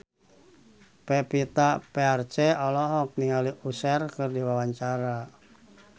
Pevita Pearce olohok ningali Usher keur diwawancara